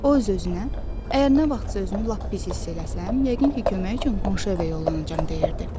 O öz-özünə: əgər nə vaxtsa özünü lap pis hiss eləsəm, yəqin ki, kömək üçün qonşu evə yollanacam, deyirdi.